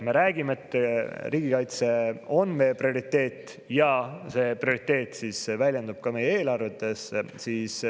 Me räägime, et riigikaitse on meie prioriteet, ja see prioriteet väljendub ka päriselt meie eelarvetes.